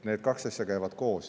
Need kaks asja käivad koos.